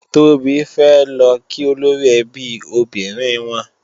Tóbi fẹ́ lọ kí olóríẹbí obìnrin wọn